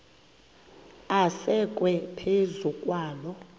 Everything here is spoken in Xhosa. asekwe phezu kwaloo